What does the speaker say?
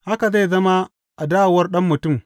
Haka zai zama a dawowar Ɗan Mutum.